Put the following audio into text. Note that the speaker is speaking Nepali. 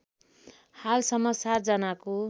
हालसम्म ७ जनाको